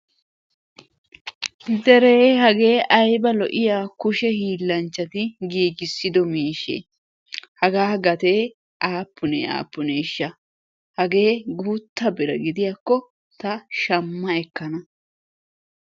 Deere hagee ayba lo"iyaa kushshe hilanchchati giigisiddo miishshe! Hagaa gatte aapunne aapuneshsha? Haggee guutta bira gidiyakko ta shamma ekkana.